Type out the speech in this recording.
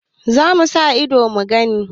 Za mu sa ido mu gani.